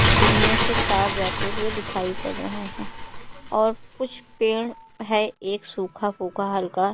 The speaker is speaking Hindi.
जिनमें से तार जाते हुए दिखाई पड़ रहे हैं और कुछ पेड़ है एक सुखा-पुखा हल्का --